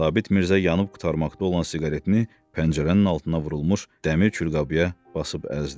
Sabit Mirzə yanıb qurtarmaqda olan siqaretini pəncərənin altına vurulmuş dəmir külqabıya basıb əzdi.